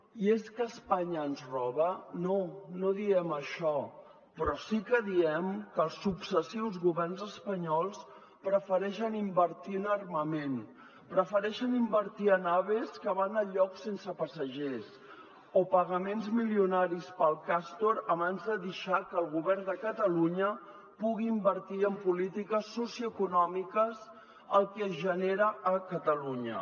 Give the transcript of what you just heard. i és que espanya ens roba no no diem això però sí que diem que els successius governs espanyols prefereixen invertir en armament prefereixen invertir en aves que van a llocs sense passatgers o pagaments milionaris per al castor abans de deixar que el govern de catalunya pugui invertir en polítiques socioeconòmiques el que es genera a catalunya